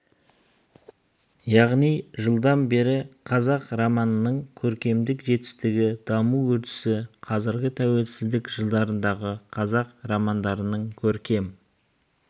яғни жылдан бері қазақ романының көркемдік жетістігі даму үрдісі қазіргі тәуелсіздік жылдарындағы қазақ романдарының көркем